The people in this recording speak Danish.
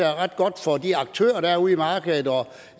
er ret godt for de aktører der er ude i markedet